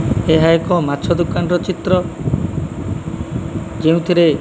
ଏହା ଏକ ମାଛ ଦୋକାନର ଚିତ୍ର ଯେଉଁଥିରେ --